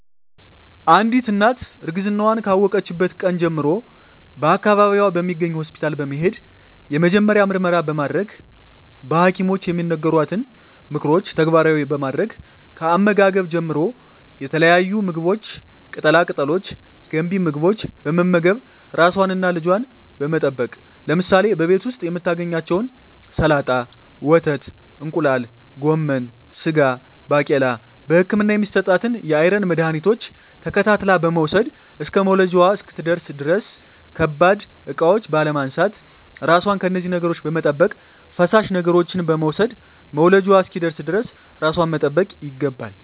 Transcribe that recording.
አንዲት እናት እርግዝናዋን ካወቀችበት ቀን ጀምሮ በአካባቢዋ በሚገኝ ሆስፒታል በመሄድ የመጀመሪያ ምርመራ በማድረግ በሀኪሞች የሚነገሯትን ምክሮች ተግባራዊ በማድረግ ከአመጋገብ ጀምሮ የተለያዩ ምግቦች ቅጠላ ቅጠሎች ገንቢ ምግቦች በመመገብ ራሷንና ልጇን በመጠበቅ ለምሳሌ በቤት ዉስጥ የምታገኛቸዉን ሰላጣ ወተት እንቁላል ጎመን ስጋ ባቄላ በህክምና የሚሰጣትን የአይረን መድሀኒቶች ተከታትላ በመዉሰድ እስከ መዉለጃዋ እስክትደርስ ድረስ ከባድ እቃዎች ባለማንሳት ራሷን ከነዚህ ነገሮች በመጠበቅ ፈሳሽ ነገሮችን በመዉሰድ መዉለጃዋ እስኪደርስ ድረስ ራሷን መጠበቅ ይገባል